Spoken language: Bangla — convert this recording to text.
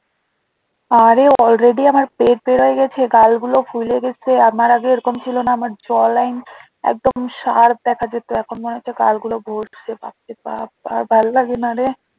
আরে already আমার পেট বের হয়ে গেছে গালগুলো ফুলে গেছে আমার আগে এরকম ছিল না আমার jaw line একদম sharp দ্যাখা যেত এখন মনে হচ্ছে গালগুলো ভরছে বাপরে বাপ আমার ভাল লাগে না রে